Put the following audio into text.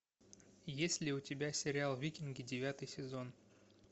есть ли у тебя сериал викинги девятый сезон